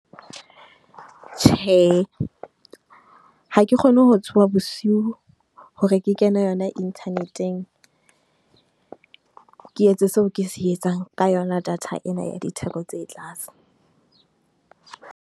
Tjhe, ha ke kgone ho tsoha bosiu hore ke kena yona inthaneteng ke etse seo ke se etsang. Ka yona data ena ya ditheko tse tlase.